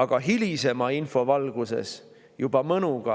Aga hilisema info valguses hakati juba mõnuga